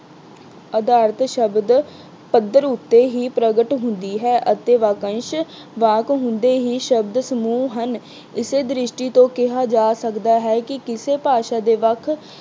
ਅਧਾਰਤ ਸ਼ਬਦ ਪੱਧਰ ਉੱਤੇ ਹੀ ਪ੍ਰਗਟ ਹੁੰਦੀ ਹੈ ਅਤੇ ਵਾਕੰਸ਼ ਵਾਕ ਹੁੰਦੇ ਹੀ ਸ਼ਬਦ ਸਮੂਹ ਹਨ। ਏਸੇ ਦ੍ਰਿਸ਼ਟੀ ਤੋਂ ਕਿਹਾ ਜਾ ਸਕਦਾ ਹੈ ਕਿ ਕਿਸੇ ਭਾਸ਼ਾ ਦੇ ਵੱਖ